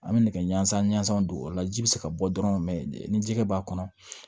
An bɛ nɛgɛ ɲɛnsan ɲansan don o la ji bɛ se ka bɔ dɔrɔn mɛ ni jɛgɛ b'a kɔnɔ